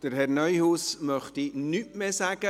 Herr Neuhaus möchte nichts mehr sagen.